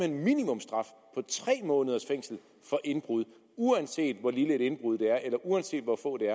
en minimumsstraf tre måneders fængsel for indbrud uanset hvor lille et indbrud det er eller uanset hvor få der